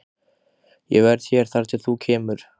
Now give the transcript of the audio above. Ég verð hér þar til þú kemur.